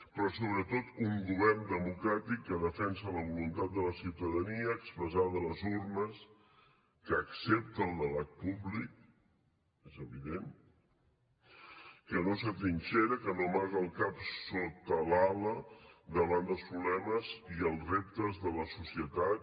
però sobretot un govern democràtic que defensa la voluntat de la ciutadania expressada a les urnes que accepta el debat públic és evident que no s’atrinxera que no amaga el cap sota l’ala davant dels problemes i els reptes de la societat